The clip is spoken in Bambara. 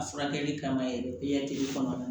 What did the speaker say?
A furakɛli kama yɛrɛ kɔnɔ